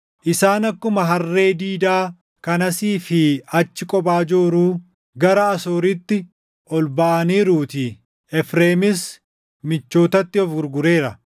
Isaan akkuma harree diidaa kan asii fi achi kophaa jooruu gara Asooriitti ol baʼaniiruutii; Efreemis michootatti of gurgureera.